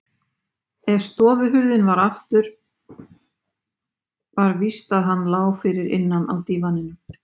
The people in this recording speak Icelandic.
ef stofuhurðin var aftur var víst að hann lá fyrir innan á dívaninum.